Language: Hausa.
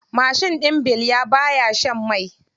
Mashin ɗin bilya baya shan mai.